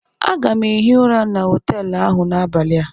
Aga m ehi ụra na họteelụ ahụ n'abalị a